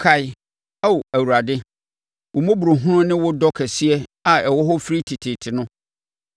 Kae, Ao Awurade, wo mmɔborɔhunu ne wo dɔ kɛseɛ a ɛwɔ hɔ firi tete no.